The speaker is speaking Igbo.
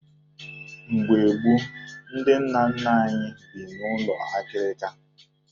Mgbe gboo, ndị nna nna anyị bi n'ụlọ akịrịka